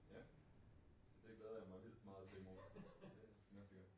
Ja. Så det glæder jeg mig vildt meget til i morgen det skal nok blive godt